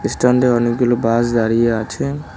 স্ট্যান্ডে অনেকগুলো বাস দাঁড়িয়ে আছে।